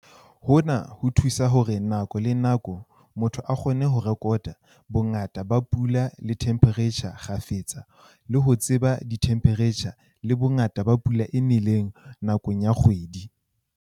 Hona ho thusa hore nako le nako motho a kgone ho rekota bongata ba pula le themphereitjhara kgafetsa le ho tseba dithemphereitjhara le bongata ba pula e neleng nakong ya kgwedi.